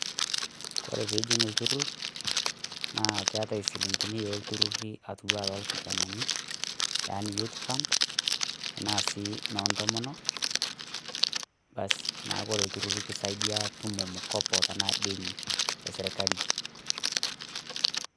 kore piijing lturrur naa silingini yoolturruri atiwa naa lolkijanani yani youth fund anaa si noontomonok basi neeku kisaidia tutumo mukopo anaa deni e sirkali.